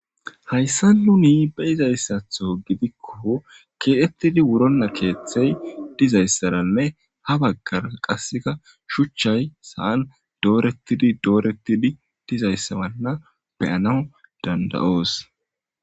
hayssa nuni be izayssatho gidikko keeettidi wuronna keeththey dizayssaranne ha baggar qasseka shuchchay sa7an doorettidi doorettidi dizayssawanna beyana dandayoos